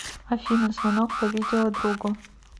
афина звонок по видео другу